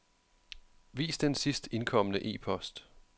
Vis den sidst indkomne e-post.